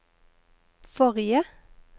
forrige